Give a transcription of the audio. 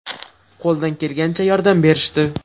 Qo‘ldan kelgancha yordam berishdi.